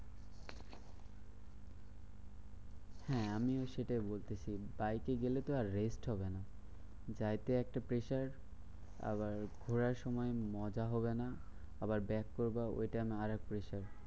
হ্যাঁ আমিও সেটাই বলতেছি, বাইকে গেলে তো আর rest হবে না। বাইকে একটা pressure আবার ঘোড়ার সময় মজা হবে না। আবার back করবা ওইটা আরেক pressure.